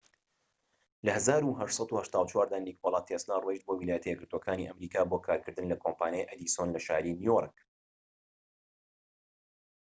لە ١٨٨٤ دا نیکۆلا تێسلا ڕۆیشت بۆ ویلایەتە یەکگرتوەکانی ئەمریکا بۆ کارکردن لە کۆمپانیای ئەدیسۆن لە شاری نیو یۆرک